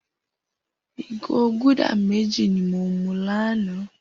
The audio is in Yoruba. Igó gúdà méji ni mó mú lànã